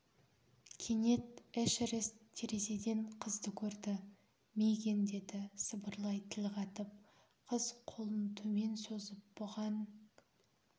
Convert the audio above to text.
кенет эшерест терезеден қызды көрді мигэн деді сыбырлай тіл қатып қыз қолын төмен созып бұған